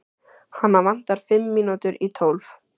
Hana vantar fimm mínútur í tólf